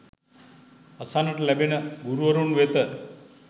අසන්නට ලැබෙන ගුරුවරුන් වෙත